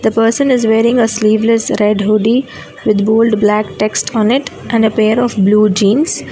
The person is wearing a sleeveless red hoodie with bold black text on it and a pair of blue jeans.